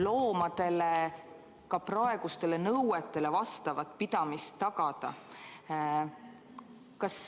... loomadele praegustele nõuetele vastavat pidamist tagada.